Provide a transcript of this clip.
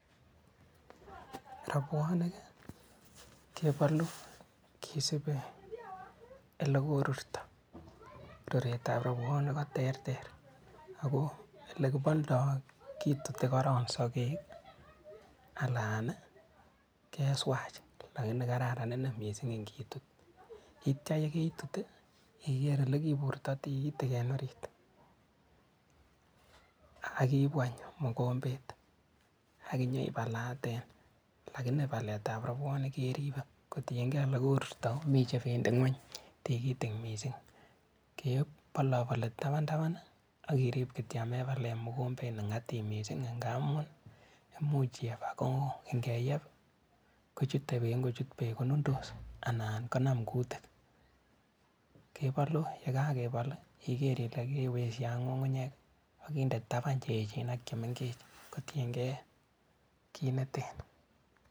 Robwonik kebolu kisibi elekorurto, ruretab robwonik koterter, ako elekiboldo kituti korong sokek alan keswach lakini kararan inei ing'itut, yeityo yekeitut ikeer elekiburto tikitik en oriit akiibu any mokombet akinyoibalaten, lakini baletab robwonik keribe kotieng'e elekorurto komii chebendi ng'weny tikitik mising, keboloboli tabantaban okirib kityok amebalen mokombet nengatib mising ng'amun imuch iyeeb akoo ing'eyeb kochute beek ako ng'ochut beek konundos anan konam kutiik, kebolu yekakebol ikeer ilee kewekyi ng'ung'unyek akinde taban cheyechen ak chemeng'ech kotieng'ee kiit neten.